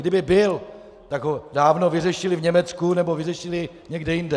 Kdyby byl, tak ho dávno vyřešili v Německu nebo vyřešili někde jinde.